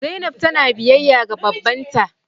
Zainab tana biyayya ga babban ta.